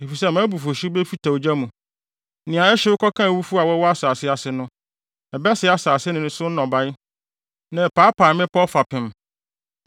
Efisɛ mʼabufuwhyew befita ogya mu, nea ɛhyew kɔka awufo a wɔwɔ asase ase no. Ɛbɛsɛe asase ne so nnɔbae na ɛpaapae mmepɔw fapem.